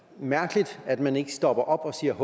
mærkeligt at man ikke stopper op og siger